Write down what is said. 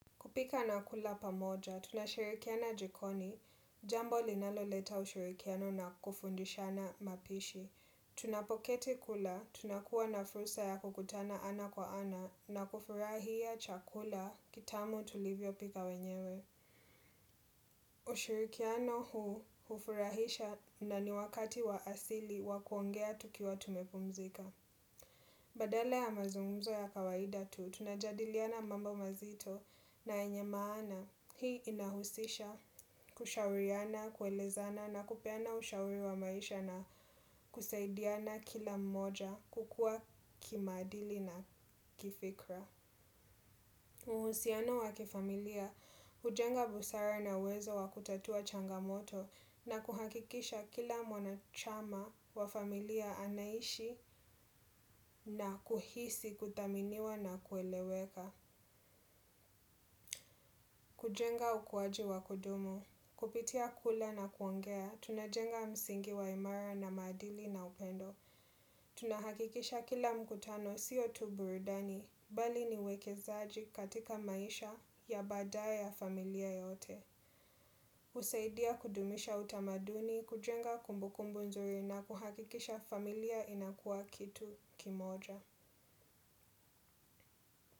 Kupika na kula pamoja, tunashirikiana jikoni, jambo linalo leta ushirikiano na kufundishana mapishi. Tunapoketi kula, tunakuwa na fursa ya kukutana ana kwa ana na kufurahia chakula kitamu tulivyo pika wenyewe. Ushirikiano huu hufurahisha na ni wakati wa asili wa kuongea tukiwa tumepumzika. Badala ya mazungumzo ya kawaida tu tunajadiliana mambo mazito na yenye maana. Hii inahusisha kushauriana, kuelezana na kupeana ushauri wa maisha na kusaidiana kila mmoja kukuwa kimaadili na kifikra. Uhusiano wa kifamilia hujenga busara na uwezo wa kutatua changamoto na kuhakikisha kila mwanachama wa familia anaishi na kuhisi kuthaminiwa na kueleweka. Kujenga ukuwaji wa kudumu, kupitia kula na kuongea, tunajenga msingi wa imara na maadili na upendo. Tunahakikisha kila mkutano sio tu burudani bali ni wekezaji katika maisha ya baadaye ya familia yote. Husaidia kudumisha utamaduni, kujenga kumbukumbu nzuri na kuhakikisha familia inakuwa kitu kimoja.